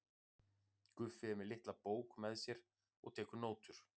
Guffi er með litla bók með sér og tekur nótur.